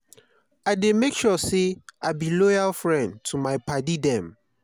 i dey make sure sey i be loyal friend to my paddy dem.